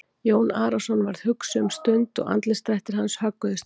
Jón Arason varð hugsi um stund og andlitsdrættir hans högguðust ekki.